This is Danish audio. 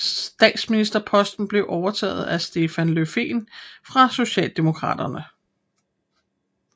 Statsministerposten blev overtaget af Stefan Löfven fra Socialdemokraterne